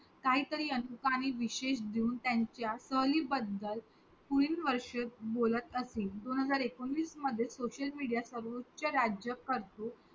काहीतरी अधिकारी विशेष देऊन त्यांच्या सहली बदल पुढील वर्षे बोलत असेल दोनहजार एकोणीस मध्ये Social media च्या सर्वोच्च राज करतो